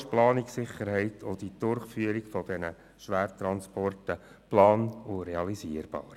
So ist die Planungssicherheit gewährleistet, und die Durchführung der Schwertransporte ist plan- und realisierbar.